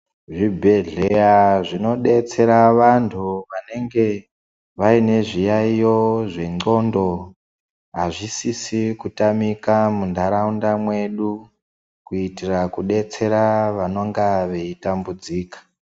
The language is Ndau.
Zvibhedhleya zvinodetsera vantu vanenge vaine zviyaiyo zvendxondo hazvisisi kutamika muntaraunda mwedu kuitira kudetsera vanenge veitambudzika.